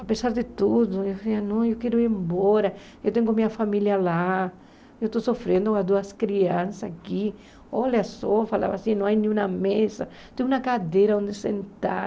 Apesar de tudo, eu dizia, não, eu quero ir embora, eu tenho minha família lá, eu estou sofrendo com as duas crianças aqui, olha só, falava assim, não há nenhuma mesa, tem uma cadeira onde sentar.